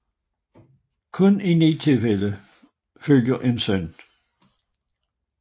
Kun i ni tilfælde følger en søn